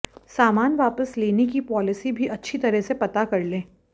सामान वापस लेने की पॉलिसी भी अच्छी तरह से पता कर लें